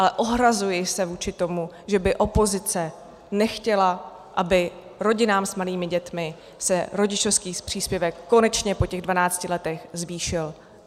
Ale ohrazuji se vůči tomu, že by opozice nechtěla, aby rodinám s malými dětmi se rodičovský příspěvek konečně po těch dvanácti letech zvýšil.